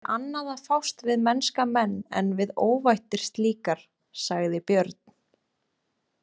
Er annað að fást við mennska menn en við óvættir slíkar, sagði Björn.